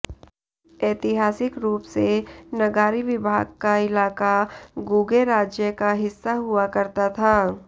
ऐतिहासिक रूप से न्गारी विभाग का इलाक़ा गुगे राज्य का हिस्सा हुआ करता था